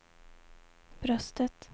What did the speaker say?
bröstet